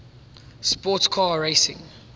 sports car racing